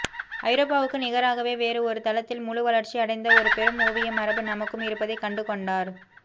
ஐரோப்பாவுக்கு நிகராகவே வேறு ஒரு தளத்தில் முழு வளர்ச்சி அடைந்த ஒரு பெரும் ஓவிய மரபு நமக்கும் இருப்பதை கண்டுகொண்டார்